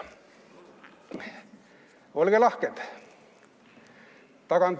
Olge lahked!